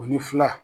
O ni fila